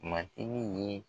Ma i ni ye